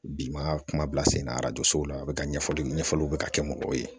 Bi ma kuma bila sen na sow la a bɛ ka ɲɛfɔli ɲɛfɔliw bɛ ka kɛ mɔgɔw ye